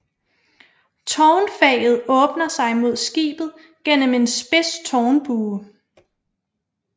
Tårnfaget åbner sig mod skibet gennem en spids tårnbue